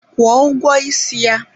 Kwụọ ụgwọ isi ya!